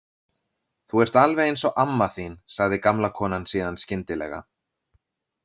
Þú ert alveg eins og amma þín, sagði gamla konan síðan skyndilega.